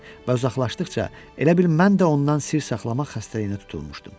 Və uzaqlaşdıqca, elə bil mən də ondan sir saxlamaq xəstəliyinə tutulmuşdum.